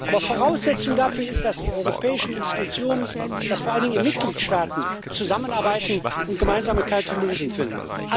Aber Voraussetzung dafür ist, dass die europäischen Institutionen und dass vor allen Dingen die Mitgliedstaaten zusammenarbeiten und gemeinsame Lösungen finden.